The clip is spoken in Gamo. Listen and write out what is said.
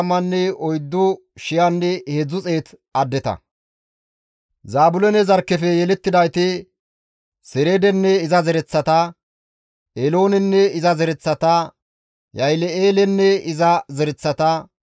Zaabiloone zarkkefe yelettidayti, Sereedenne iza zereththata, Eeloonenne iza zereththata, Yaahile7eelenne iza zereththata.